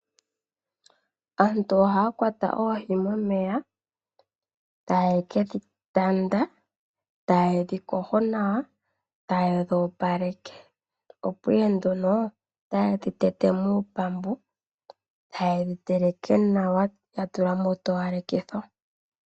Aantu ohaya kwata oohi momeya taye kedhi tanda, taye dhi yogo nawa, ta yedhi opaleke opo ihe nduno ta ye dhitete mupambu taye dhiteleke nawa yatula mo utowalekitho.